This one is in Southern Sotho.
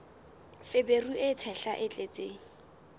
feberu e tshehla e tletseng